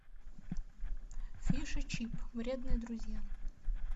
фиш и чип вредные друзья